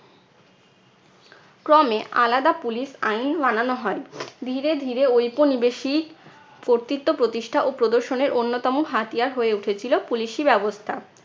ক্রমে আলাদা police আইন বানানো হয়। ধীরে ধীরে ঔপনিবেশিক কর্তৃত্ব প্রতিষ্ঠা ও প্রদর্শনের অন্যতম হাতিয়ার হয়ে উঠেছিল police ই ব্যবস্থা।